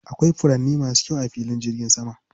Akwai furanni masu kyau a filin jirgin saman.